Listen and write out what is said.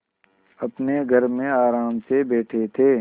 अपने घर में आराम से बैठे थे